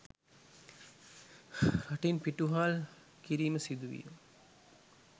රටින් පිටුවහල් කිරීම සිදුවිය